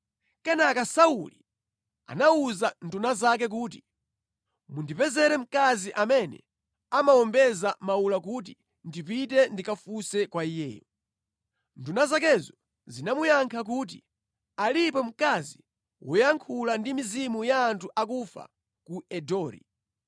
Kenaka Sauli anawuza nduna zake kuti, “Mundipezere mkazi amene amawombeza mawula kuti ndipite ndikafunse kwa iye.” Nduna zakezo zinamuyankha kuti, “Alipo mkazi woyankhula ndi mizimu ya anthu akufa ku Endori.”